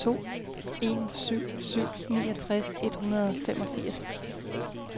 to en syv syv niogtres et hundrede og femogfirs